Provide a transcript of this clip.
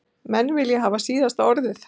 Menn vilja hafa síðasta orðið